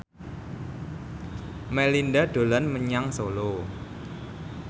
Melinda dolan menyang Solo